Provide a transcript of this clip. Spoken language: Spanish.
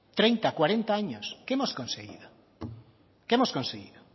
treinta cuarenta años qué hemos conseguido qué hemos conseguido